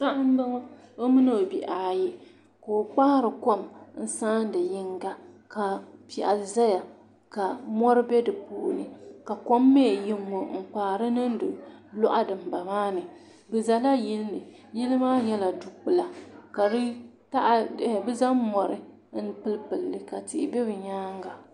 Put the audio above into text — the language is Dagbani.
paɣa m-bɔŋɔ o mini o bihi ayi ka o kpaari kom n-saan-i yiŋga ka piɛɣu zaya ka mɔri be di puuni ka kom mi yi ŋ-ŋɔ n-kpaari niŋdi l-o' dimbala maa ni di zala yili ni yili maa nyɛla du-kpula ka di taha bɛ zaŋ mɔri m-pilipili li ka tihi be bɛ nyaaŋaga